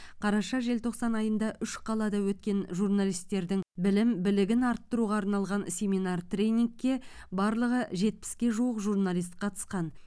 қараша желтоқсан айында үш қалада өткен журналистердің білім білігін арттыруға арналған семинар тренингке барлығы жетпіске жуық журналист қатысқан